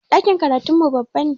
Ɗakin karatun mu babba ne